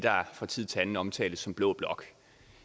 der fra tid til anden omtales som blå blok